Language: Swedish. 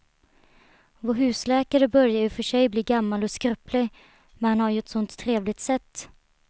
Vår husläkare börjar i och för sig bli gammal och skröplig, men han har ju ett sådant trevligt sätt!